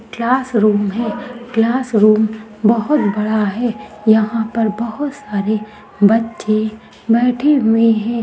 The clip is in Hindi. क्लासरूम है क्लासरूम बहुत बड़ा है यहाँ पर बहुत सारे बच्चे बैठे हुए है।